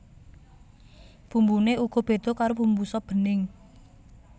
Bumbuné uga béda karo bumbu sop bening